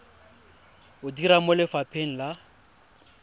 o dira mo lefapheng la